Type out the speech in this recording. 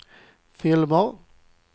filmer